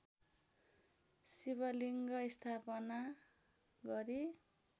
शिवलिङ्ग स्थापना गरी